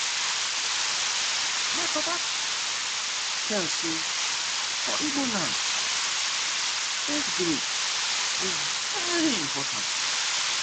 my papa tell sey for igbo land age grade dey very important.